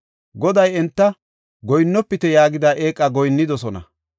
Goday enta, “Goyinnofite” yaagida eeqa goyinnidosona.